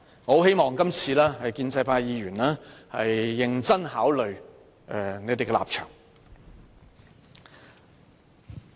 我希望建制派議員能認真考慮他們的立場。